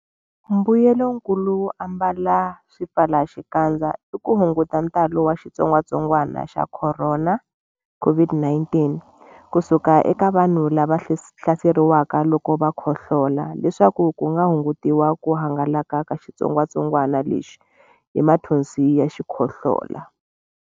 Mbuyelonkulu wo ambala swipfalaxikandza i ku hunguta ntalo wa xitsongwantsongwana xa Khorona, COVID-19 ku suka eka vanhu lava hlaseriweke loko va khohlola leswaku ku hungutiwa ku hangalaka ka xitsongwantsongwana lexi hi mathonsi ya xikhohlola.